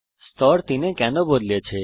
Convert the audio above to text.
স্তর 3 তে কেন বদলেছে